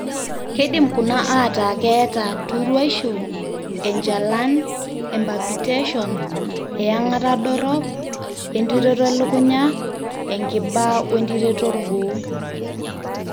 keidim kuna aataa keeta turuaisho, enchalan, epalpitation, eyang'ata dorop, entiroto elukunya, enkiba oentiroto orgoo.